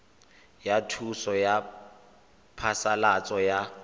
ya thuso ya phasalatso ya